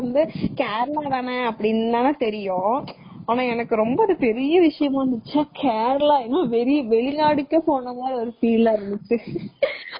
ஆனா எனக்கு ரொம்ப அது பெரிய விஷயமா இருந்துச்சா கேரளா என்னமோ வெளிநாடுகே போனமாதிரி ஒரு feel ஆ இருந்துச்சு.